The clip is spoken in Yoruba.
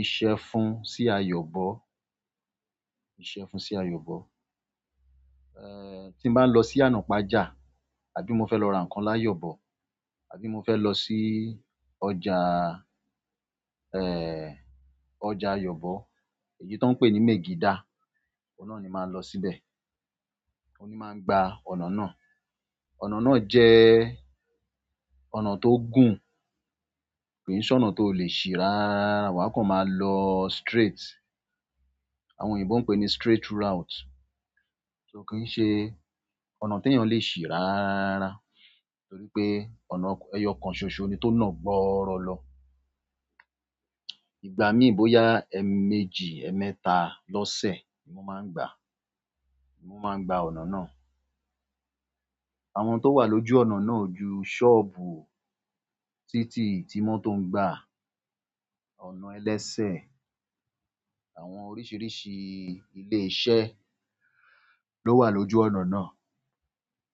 ìṣẹ́gun sí Ayọ̀bò. Ìṣẹ́fun sí Ayọ̀bò. Èè tí mo bá lọ sí iyanàpájà àbí mo felo ra n ko ni ayobo àbí mo fe losi ọjà. Èè ọjà Ayọ̀bò èyí tó ń pé ní Megida, ọun na ni máa ń lọ síbẹ̀. Mo ní máa ń gba ọ̀nà ńá. Ọ̀nà náà jẹ́ ọ̀nà tó gùn, kì í ṣe ọ̀nà tó le ṣí rárára. Wà á kọ́ máa lọ straight. Àwọn òyìnbó ń pẹ ní straight route. So kì í ṣe ọ̀nà tó yàn le ṣí rárára torí pé ọ̀nà-- ẹyọ kan ṣoṣo ni tó nà gbọ́rọ lọ. Ìgbà mí ì bóyá ẹ́ẹ́méjì, ẹ̀ẹ́mẹ́ta lọ́ṣe ni mo máa ń gba, mo máa ń gba ọ̀nà náà. Àwọn tó wà lójú ọ̀nà náà o ju sọ́ọ̀bù, títì tí mọ́tò ń gba, ọ̀nà ẹlẹ́ṣe, àwọn oríṣìíríṣìí ilé iṣẹ́ ló wà lójú ọ̀nà náà.